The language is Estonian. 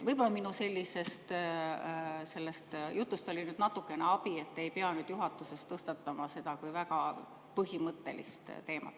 Võib-olla minu sellisest jutust oli natukene abi, et ei pea juhatuses tõstatama seda kui väga põhimõttelist teemat.